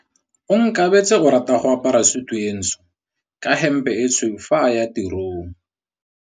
Onkabetse o rata go apara sutu e ntsho ka hempe e tshweu fa a ya tirong.